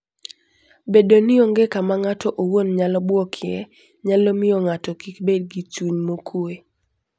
Bedo ni onge kama ng'ato owuon nyalo buokie, nyalo miyo ng'ato kik bed gi chuny mokuwe.